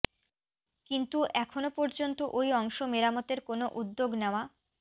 কিন্তু এখন পর্যন্ত ওই অংশ মেরামতের কোনো উদ্যোগ নেওয়া